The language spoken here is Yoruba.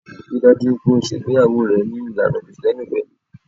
Ri dájú pé o ṣe ìgbéyàwó rẹ ní ìlànà Kirìtẹ́nì pẹ̀lú.